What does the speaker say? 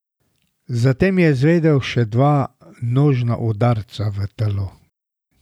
Zatem je izvedel še dva nožna udarca v telo.